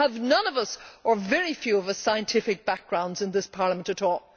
Have none of us, or very few of us, scientific backgrounds in this Parliament at all?